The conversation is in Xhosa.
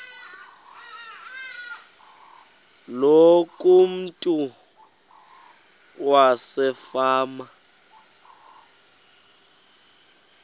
loku umntu wasefama